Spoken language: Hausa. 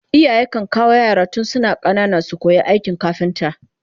iyaye kan kawo yara tun suna ƙanana su koya aikin kafinta